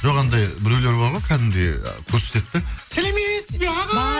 жоқ анадай біреулер бар ғой кәдімгідей а көрсетеді де сәлеметсіз бе ағай